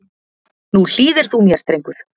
Nú hlýðir þú mér, drengur.